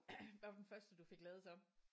Hvad var den første du fik lavet så?